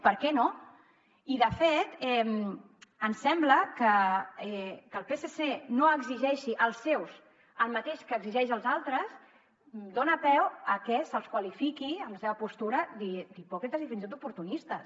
per què no i de fet ens sembla que que el psc no exigeixi als seus el mateix que exigeix als altres dona peu a que se’ls qualifiqui amb la seva postura d’hipòcrites i fins i tot d’oportunistes